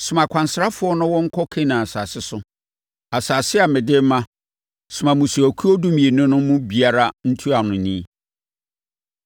“Soma akwansrafoɔ na wɔnkɔ Kanaan asase so—asase a mede rema; soma mmusuakuo dumienu no mu biara ntuanoni.”